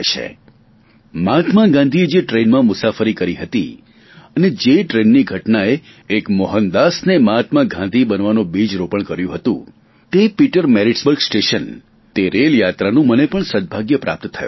મને મહાત્મા ગાંધીએ જે ટ્રેનમાં મુસાફરી કરી હતી અને જે ટ્રેનની ઘટનાએ એક મોહનદાસને મહાત્મા ગાંધી બનવાનું બીજ રોપણ કર્યું હતું તે પીટર મેરીટ્સબર્ગ સ્ટેશન તે રેલયાત્રાનું મને પણ સદભાગ્ય પ્રાપ્ત થયું